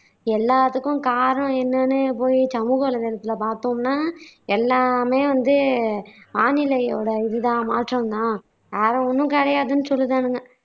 எல்லாத்துக்கும் காரணம் என்னன்னு போயி சமூகவலைதளத்துல பாத்தோம்னா எல்லாமே வந்து வானிலையொட இது தான் மாற்றம் தான் அதை ஒண்ணும் கிடையாதுனு சொல்லுதானுங்க